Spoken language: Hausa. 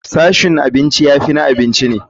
Sashin abinci ya fi na abinci ne.